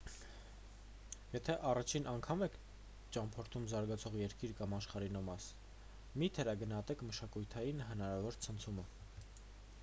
եթե առաջին անգամ եք ճամփորդում զարգացող երկիր կամ աշխարհի նոր մաս մի թերագնահատեք մշակութային հնարավոր ցնցումը